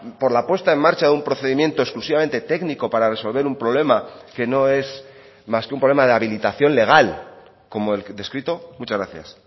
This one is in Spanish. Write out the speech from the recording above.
por la puesta en marcha de un procedimiento exclusivamente técnico para resolver un problema que no es más que un problema de habilitación legal como el descrito muchas gracias